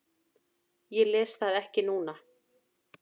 Ég les það ekki núna.